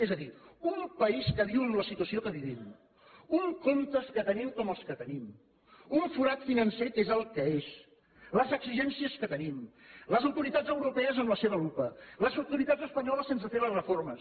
és a dir un país que viu en la situació que vivim uns comptes que tenim com els que tenim un forat financer que és el que és les exigències que tenim les autoritats europees amb la seva lupa les autoritats espanyoles sense fer les reformes